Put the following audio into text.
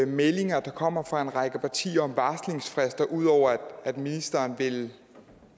meldinger der kommer fra en række partier om varslingsfrister ud over at ministeren vil